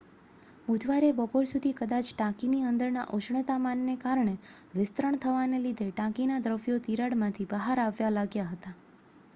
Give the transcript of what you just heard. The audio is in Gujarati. બુધવારે બપોર સુધી કદાચ ટાંકીની અંદરના ઉષ્ણતામાનને કારણે વિસ્તરણ થવાને લીધે ટાંકીના દ્રવ્યો તિરાડમાંથી બહાર આવવા લાગ્યા હતા